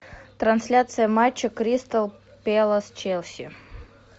трансляция матча кристал пэлас челси